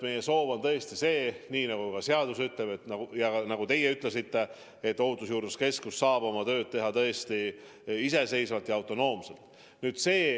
Meie soov on tõesti see, nii nagu ka seadus ütleb ja nagu teie ütlesite, et Ohutusjuurdluse Keskus saab oma tööd teha iseseisvalt ja autonoomselt.